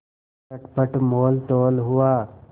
चटपट मोलतोल हुआ